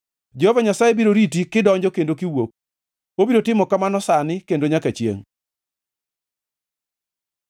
Jehova Nyasaye biro riti kidonjo kendo kiwuok, obiro timo kamano sani kendo nyaka chiengʼ.